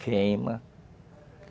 Queima.